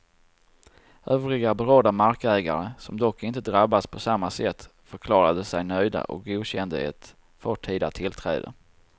Övriga berörda markägare, som dock inte drabbas på samma sätt, förklarade sig nöjda och godkände ett förtida tillträde.